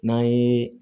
N'an ye